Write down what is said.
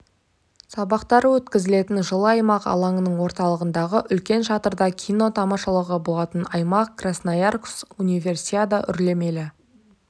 сабақтары өткізілетін жылы аймақ алаңның орталығындағы үлкен шатырда кино тамашалауға болатын аймақ красноярск универсиада үрлемелі